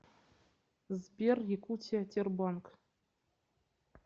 сбер якутия тербанк